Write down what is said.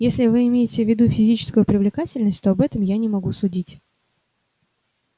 если вы имеете в виду физическую привлекательность то об этом я не могу судить